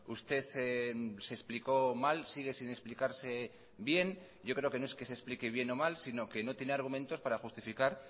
usted se explicó mal sigue sin explicarse bien yo creo que no es que se explique bien o mal sino que no tiene argumentos para justificar